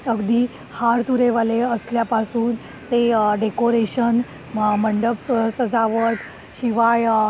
अगदी हार तुरे वाले असल्या पासून ते डेकोरेशन, मंडप सजावट शिवाय